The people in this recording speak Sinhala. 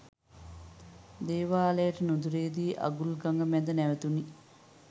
දේවාලයට නුුදුරේදී අගුල ගඟ මැද නැවැතුණී.